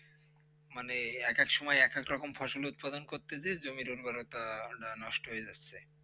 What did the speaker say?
মানে একেক সময় একেক রকম ফসল উৎপাদন করতে যেস জমির উর্বরতা নষ্ট হয়ে যাচ্ছে